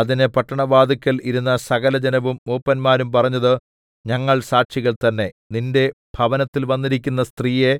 അതിന് പട്ടണവാതില്ക്കൽ ഇരുന്ന സകലജനവും മൂപ്പന്മാരും പറഞ്ഞത് ഞങ്ങൾ സാക്ഷികൾ തന്നേ നിന്റെ ഭവനത്തിൽ വന്നിരിക്കുന്ന സ്ത്രീയെ